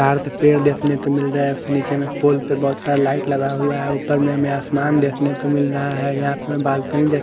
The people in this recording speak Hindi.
यहाँ पेड़ देखने को मिल रहा है उसके नीचे पुल पे बहुत सारे लाइट लगा हुआ है ऊपर में आसमान देखने को मिल रहा है यहां पर हमें बालकनी --